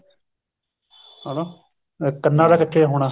ਹਨਾ ਕੰਨਾ ਦਾ ਕੱਚੇ ਹੋਣਾ